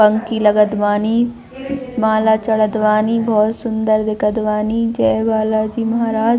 पंकी लगत बानी माला चढ़त बानी बहुत सुन्दर दिखत बानी जय बालाजी महाराज--